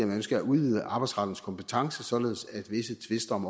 man ønsker at udvide arbejdsrettens kompetence således at visse tvister om